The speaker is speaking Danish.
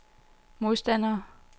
modstandere